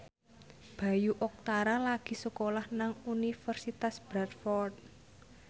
Bayu Octara lagi sekolah nang Universitas Bradford